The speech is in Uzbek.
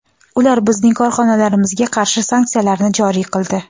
Ular bizning korxonalarimizga qarshi sanksiyalarni joriy qildi.